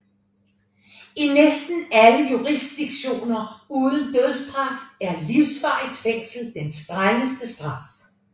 I næsten alle jurisdiktioner uden dødsstraf er livsvarigt fængsel den strengeste straf